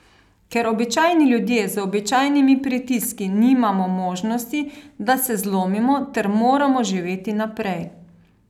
Ker običajni ljudje z običajnimi pritiski nimamo možnosti, da se zlomimo ter moramo živeti naprej.